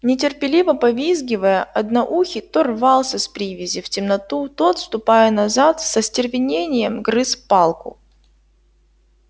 нетерпеливо повизгивая одноухий то рвался с привязи в темноту то отступая назад с остервенением грыз палку